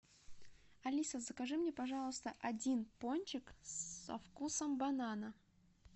алиса закажи мне пожалуйста один пончик со вкусом банана